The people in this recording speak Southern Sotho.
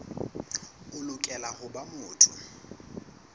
o lokela ho ba motho